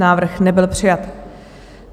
Návrh nebyl přijat.